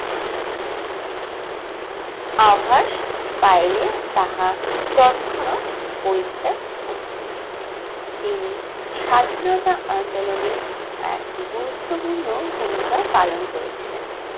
আভাস পাইলে তাহা তৎক্ষণাৎ পরিত্যাগ করতেন । তিনি স্বাধীনতা আন্দোলনের এক গুরুত্বপূর্ণ ভূমিকা পালন করেছিলেন।